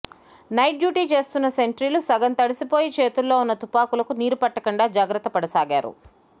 night duty చేస్తున్న సెంట్రీలు సగం తడిసిపోయి చేతిల్లో ఉన్న తుపాకులకు నీరు పట్టకుండా జాగ్రత్త పడసాగారు